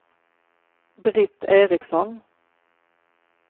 Britt Ericsson